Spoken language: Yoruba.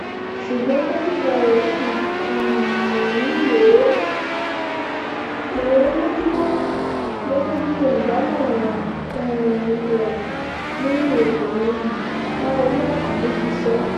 ṣùgbọ́n dókítà rẹ̀ ṣì um ń wò ó lójú ná gẹ́gẹ́ bí olùdámọ̀ràn um rẹ̀ lórí ètò ìròyìn láolú àkàndé ṣe sọ